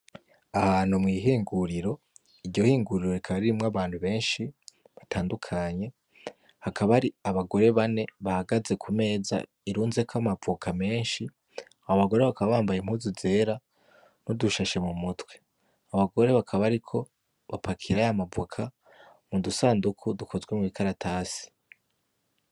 ahantu mwihinguriro iryo hinguriro rikaba ririmwo abantu benshi batandukanye hakaba hari abagore bane bahagaze kumeza irunzeko amavoka menshi abo bagore bakaba bambaye impuzu zera nudushashe mumutwe abo bagore bakaba bariko bapakira yamavoka mudusandungu dukozwe mumikaratasi